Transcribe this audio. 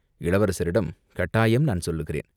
இளவரசரிடம் கட்டாயம் நான் சொல்லுகிறேன்!